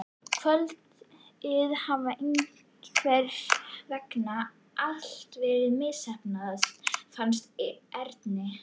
Kvöldið hafði einhvern veginn allt verið misheppnað, fannst Erni.